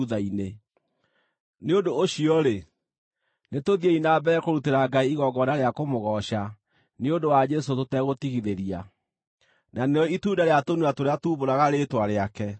Nĩ ũndũ ũcio-rĩ, nĩtũthiĩ na mbere kũrutĩra Ngai igongona rĩa kũmũgooca nĩ ũndũ wa Jesũ tũtegũtigithĩria, na nĩrĩo itunda rĩa tũnua tũrĩa tuumbũraga rĩĩtwa rĩake.